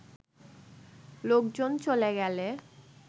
লোকজন চ’লে গেলে